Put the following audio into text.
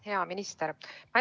Hea minister!